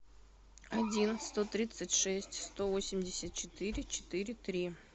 один сто тридцать шесть сто восемьдесят четыре четыре три